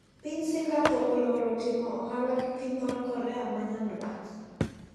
Piny Singapore oloro timo ohala gi piny mar Korea ma nyanduat.